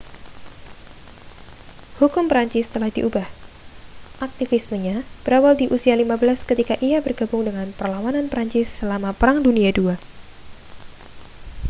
hukum prancis telah diubah aktivismenya berawal di usia 15 ketika ia bergabung dengan perlawanan prancis selama perang dunia ii